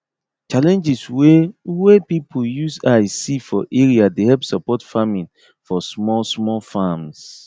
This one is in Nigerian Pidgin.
challenges way way people use eye see for area dey help support farming for small small farms